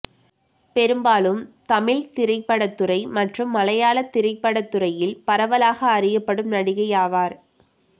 பெரும்பாலும் தமிழ்த் திரைப்படத்துறை மற்றும் மலையாளத் திரைப்படத்துறையில் பரவலாக அறியப்படும் நடிகை ஆவார்